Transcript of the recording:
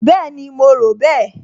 Bẹ́ẹ̀ni, mo rò bẹ́ẹ̀